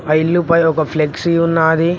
ఆ ఇల్లు లోపల ఒక ఫ్లెక్సీ ఉన్నది.